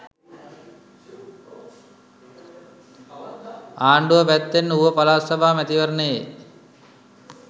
ආණ්ඩුව පැත්තෙන් ඌව පළාත් සභා මැතිවරණයේ